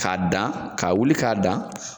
K'a dan k'a wuli k'a dan.